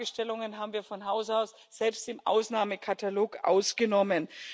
Diese Fragestellungen haben wir von Hause aus selbst im Ausnahmekatalog ausgenommen.